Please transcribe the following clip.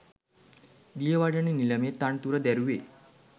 දියවඩන නිලමේ තනතුර දැරුවේ